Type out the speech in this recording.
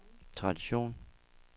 tradition